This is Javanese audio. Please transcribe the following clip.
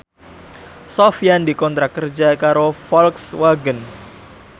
Sofyan dikontrak kerja karo Volkswagen